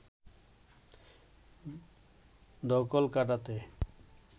ধকল কাটাতে